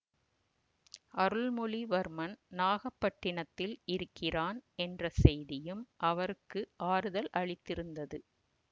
அருள்மொழிவர்மன் நாகப்பட்டினத்தில் இருக்கிறான் என்ற செய்தியும் அவருக்கு ஆறுதல் அளித்திருந்தது